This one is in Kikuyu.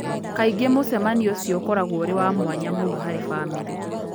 Kaingĩ mũcemanio ũcio ũkoragwo ũrĩ wa mwanya mũno harĩ famĩlĩ.